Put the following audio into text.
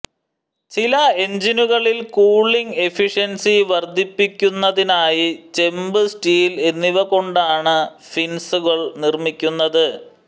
ചില എഞ്ചിനുകളിൽ cooling efficiency വർധിപ്പിക്കുന്നതിനായി ചെമ്പ് സ്റ്റീൽ എന്നിവ കൊണ്ടാണ് ഫിൻസുകൾ നിർമ്മിക്കുന്നത്